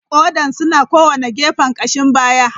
Kodan suna a kowane gefen kashin baya.